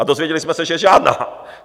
A dozvěděli jsme se, že žádná!